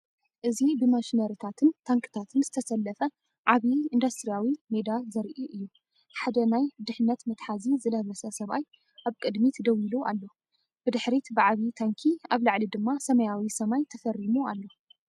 እዚ ብማሽነሪታትን ታንክታትን ዝተሰለፈ ዓብዪ ኢንዱስትርያዊ ሜዳ ዘርኢ እዩ፤ ሓደ ናይ ድሕነት መትሓዚ ዝለበሰ ሰብኣይ ኣብ ቅድሚት ደው ኢሉ ኣሎ። ብድሕሪት ብዓቢ ታንኪ ኣብ ላዕሊ ድማ ሰማያዊ ሰማይ ተፈሪሙ ኣሎ።